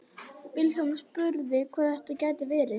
Vilhjálmur spurði hvað þetta gæti verið.